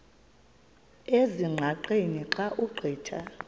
ezingqaqeni xa ugqitha